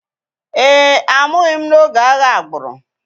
Ee e, a mụghị m n’oge agha agbụrụ